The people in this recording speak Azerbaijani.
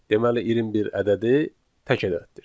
Deməli 21 ədədi tək ədəddir.